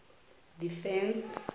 defence